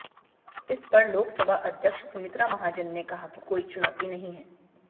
इस पर लोकसभा अध्यक्ष सुमित्रा महाजन ने कहा कि कोई चुनौती नहीं है